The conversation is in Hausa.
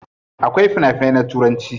Akwai fina finai na turanci.